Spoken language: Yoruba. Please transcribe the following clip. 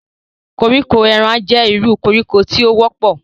Koriko eran jẹ iru koriko ti o wọpọ.